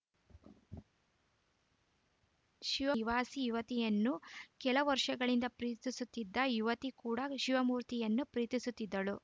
she ನಿವಾಸಿ ಯುವತಿಯನ್ನು ಕೆಲ ವರ್ಷಗಳಿಂದ ಪ್ರೀತಿಸುತ್ತಿದ್ದ ಯುವತಿ ಕೂಡ ಶಿವಮೂರ್ತಿಯನ್ನು ಪ್ರೀತಿಸುತ್ತಿದ್ದಳು